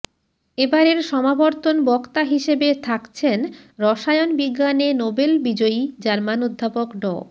এবারের সমাবর্তন বক্তা হিসেবে থাকছেন রসায়ন বিজ্ঞানে নোবেল বিজয়ী জার্মান অধ্যাপক ড